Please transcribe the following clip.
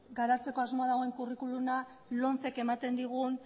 garatzeko asmoa dagoen curriculuma lomcek ematen digun